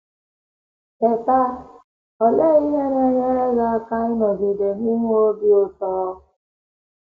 Teta!: Olee ihe na - enyere gị aka ịnọgide na - enwe obi ụtọ?